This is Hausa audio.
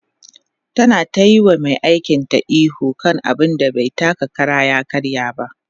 ta na tayi wa Mai aikin ta ihu akan abun da bai taka Kara ya karya ba